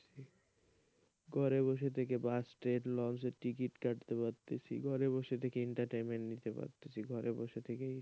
ঘরে বসে থেকে বাস, ট্রেন, লঞ্চের টিকিট কাটতে পারছি ঘরে বসে থেকে entertainment নিতে পারছি ঘরে বসে থেকেই,